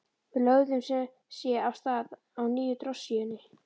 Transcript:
Við lögðum sem sé af stað á nýju drossíunni.